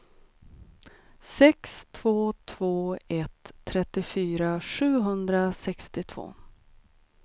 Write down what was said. sex två två ett trettiofyra sjuhundrasextiotvå